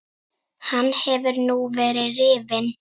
Hann hefur nú verið rifinn.